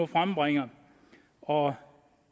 frembringer og